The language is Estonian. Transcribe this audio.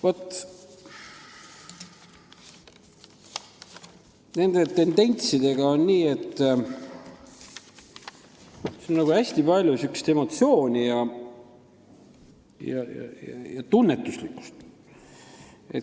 Vaat nende tendentsidega on nii, et neis on hästi palju emotsiooni ja tunnetuslikkust.